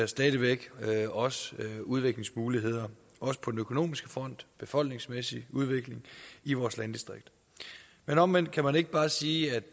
stadig væk også udviklingsmuligheder også på den økonomiske front befolkningsmæssige udvikling i vores landdistrikter men omvendt kan man ikke bare sige